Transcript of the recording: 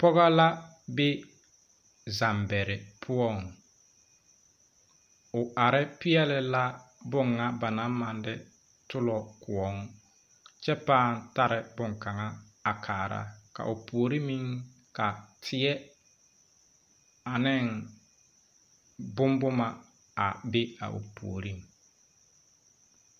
Pogɔ la be zambɛre poɔŋ o are peɛɛle la boŋa ba naŋ maŋ de tɔllɔ kõɔ kyɛ pãã tare bonkanga a kaara ka o puore maŋ ka teɛ aneŋ bonbomma a be a o puoreŋ.